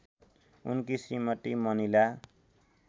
उनकी श्रीमती मनिला